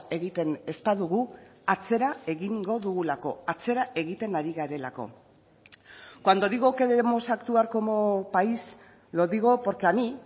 egiten ez badugu atzera egingo dugulako atzera egiten ari garelako cuando digo que debemos actuar como país lo digo porque a mí